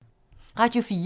Radio 4